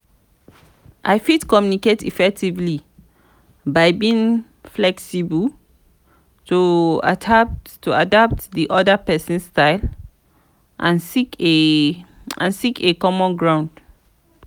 i fit communicate effectively by being flexible to adapt di oda pesin's style and seek a and seek a common ground.